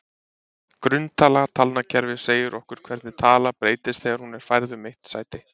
Grunntala talnakerfis segir okkur hvernig tala breytist þegar hún er færð um eitt sæti.